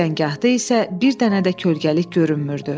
Düzəngahda isə bir dənə də kölgəlik görünmürdü.